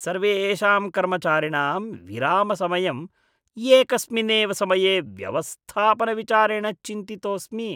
सर्वेषां कर्मचारिणां विरामसमयम् एकस्मिन्नेव समये व्यवस्थापनविचारेण चिन्तितोऽस्मि ।